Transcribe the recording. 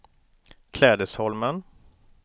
Klädesholmen